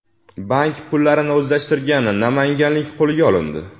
Bank pullarini o‘zlashtirgan namanganlik qo‘lga olindi.